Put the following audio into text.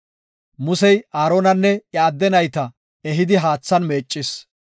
Musey Aaronanne iya adde nayta ehidi haathan meeccis.